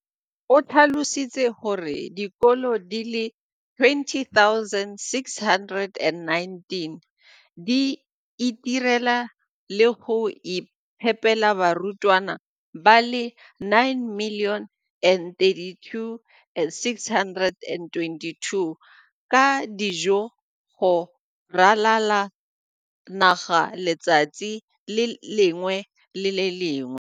O tlhalositse gore dikolo di le 20 619 di itirela le go iphepela barutwana ba le 9 032 622 ka dijo go ralala naga letsatsi le lengwe le le lengwe.